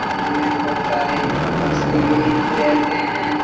नदी में बहोत सारे मछली भी रहते हैं।